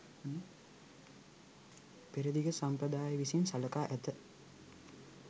පෙරදිග සම්ප්‍රදාය විසින් සලකා ඇත.